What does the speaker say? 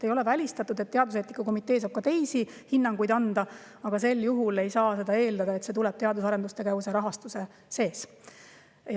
Ei ole välistatud, et teaduseetika komitee saab ka teisi hinnanguid anda, aga sel juhul ei saa eeldada, et see tuleb teadus- ja arendustegevuse rahastuse eest.